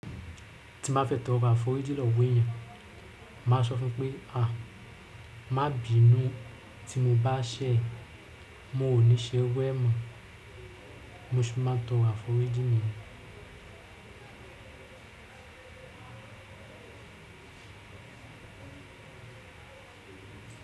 Ti ma fe to rò aforiji lọ wo ẹ̀yán ma sọ fun pe a, ma bi inu ti mo ba ṣẹ, mo o ni ṣe irú mọ, mo si ma to aforiji nìyẹn.